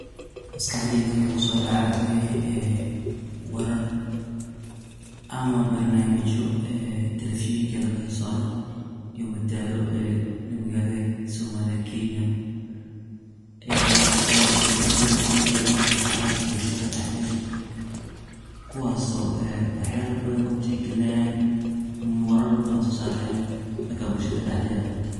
Maskaxdeyda wixii kuso dacayo wuxuu yahay ee warar ama barnamijyo ee televishenka laga so saaro iyo madadaalo iyo magaladha somalia, kenya ee waa televishen aad iyo aad u anfacaayo bulshadha dax dedha kuwaaso ee wax yaala badhan ku tixgalinayan ama warar badhan soo sarayan danka bulshada dax deedha.